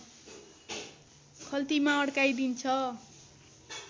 खल्तीमा अड्काइदिन्छ